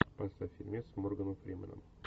поставь фильмец с морганом фрименом